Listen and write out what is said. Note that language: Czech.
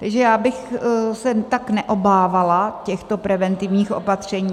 Takže já bych se tak neobávala těchto preventivních opatření.